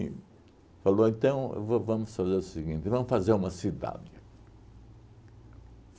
Em falou, então, va vamos fazer o seguinte, vamos fazer uma cidade.